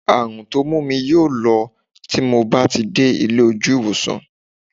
Àrùn tó mú mi yóò lọ tí mo bá ti dé ilé ojú ìwòsàn